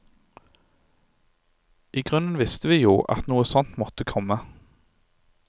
I grunnen visste vi jo at noe sånt måtte komme.